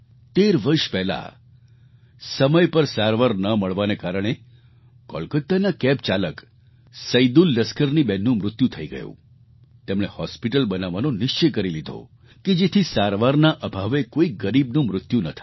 13 વર્ષ પહેલાં સમય પર સારવાર ન મળવાના કારણે કોલકાતાના કૅબ ચાલક સૈદુલ લસ્કરની બહેનનું મૃત્યુ થઈ ગયું તેમણે હૉસ્પિટલ બનાવવાનો નિશ્ચય કરી લીધો કે જેથી સારવારના અભાવે કોઈ ગરીબનું મૃત્યુ ન થાય